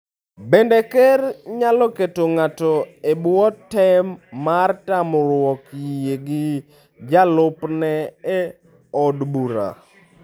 Bende, ker nyalo keto ng'ato e bwo tem mar tamruok yie gi jalupne e od bura.